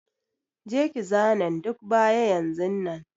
Je ki zanen duk baya yanzun nan.